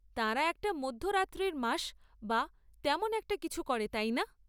তাঁরা একটা মধ্যরাত্রির মাস বা তেমন একটা কিছু করে, তাই না?